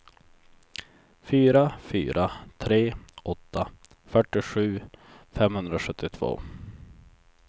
fyra fyra tre åtta fyrtiosju femhundrasjuttiotvå